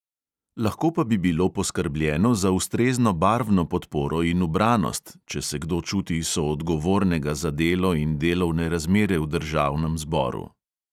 Lahko pa bi bilo poskrbljeno za ustrezno barvno podporo in ubranost, če se kdo čuti soodgovornega za delo in delovne razmere v državnem zboru.